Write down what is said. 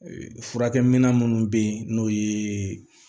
Furakɛminɛn minnu bɛ yen n'o ye